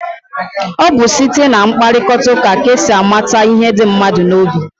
Ọ bụ site na mkparịkọtaụka ka e si amata ihe dị mmadụ n'obi.